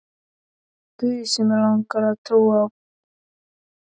guð sem mig langar að trúa á.